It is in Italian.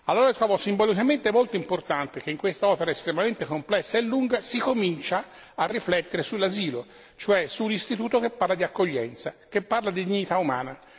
Allora trovo simbolicamente molto importante che in questa opera estremamente complessa e lunga si cominci a riflettere sull'asilo, cioè sull'istituto che parla di accoglienza, che parla di dignità umana.